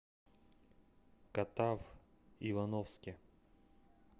катав ивановске